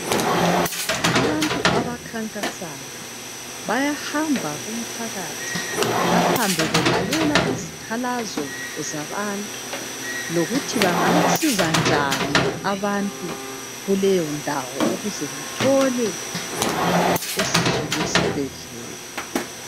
Abantu abakhankasayo bayahamba kumphakathi bahambe belalela izikhalazo zabantu kokuthi bangabasiza njani abantu kuleyondawo ukuze bathole isizo lwesibhedlela.